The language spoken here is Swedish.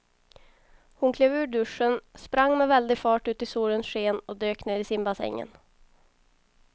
Hon klev ur duschen, sprang med väldig fart ut i solens sken och dök ner i simbassängen.